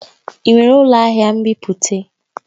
Ị nwere ụlọ ahịa nbipute?